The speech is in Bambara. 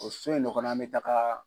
O so in de kɔnɔ an bɛ taga